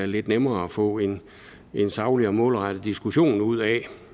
lidt nemmere at få en en saglig og målrettet diskussion ud af